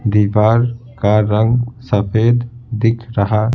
दीवार का रंग सफेद दिख रहा--